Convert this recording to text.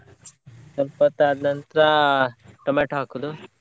ಸ್ವಲ್ಪ ಹೊತ್ ಆದ್ ನಂತ್ರ tomato ಹಾಕೋದು.